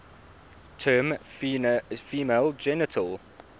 term female genital